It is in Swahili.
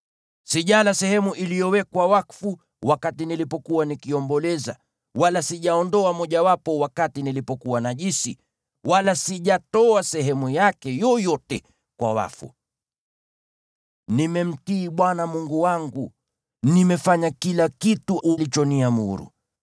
Sijala sehemu iliyowekwa wakfu wakati nilipokuwa nikiomboleza, wala sijaondoa mojawapo wakati nilipokuwa najisi, wala sijatoa sehemu yake yoyote kwa wafu. Nimemtii Bwana Mungu wangu; nimefanya kila kitu ulichoniamuru.